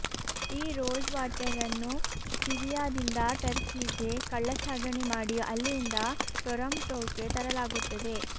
ಈ ರೋಸ್ ವಾಟರ್ಅನ್ನು ಸಿರಿಯಾದಿಂದ ಟರ್ಕಿಗೆ ಕಳ್ಳಸಾಗಣೆ ಮಾಡಿ ಅಲ್ಲಿಂದ ಟೊರಾಂಟೊಕ್ಕೆ ತರಲಾಗುತ್ತದೆ